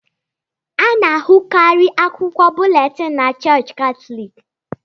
A na-ahụkarị akwụkwọ búlétin na Chọọchị Katọlik